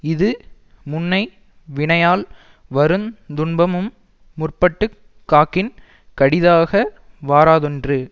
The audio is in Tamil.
இது முன்னை வினையால் வருந் துன்பமும் முற்பட்டு காக்கின் கடிதாக வாராதென்று